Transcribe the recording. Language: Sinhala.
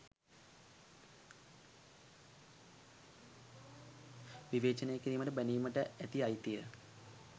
විවේචනය කිරීමට බැනීමට ඇති අයිතිය